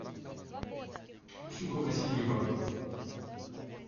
ксюха васильева